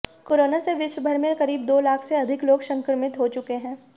corona से विश्व भर में करीब दो लाख से अधिक लोग संक्रमित हो चुके हैं